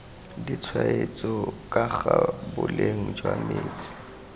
ditshwetso kaga boleng jwa metsi